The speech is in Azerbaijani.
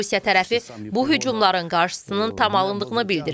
Rusiya tərəfi bu hücumların qarşısının tam alındığını bildirir.